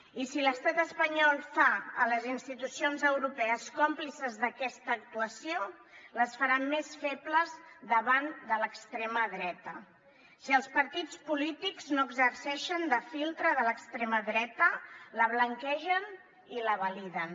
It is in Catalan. i si l’estat espanyol fa les institucions europees còmplices d’aquesta actuació les farà més febles davant de l’extrema dreta si els partits polítics no exerceixen de filtre de l’extrema dreta la blanquegen i la validen